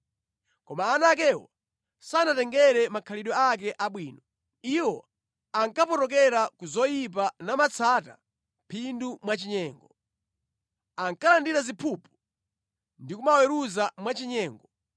Koma ana akewo sanatengere makhalidwe ake abwino. Iwo ankapotokera ku zoyipa namatsata phindu mwachinyengo. Ankalandira ziphuphu ndi kumaweruza mwachinyengo.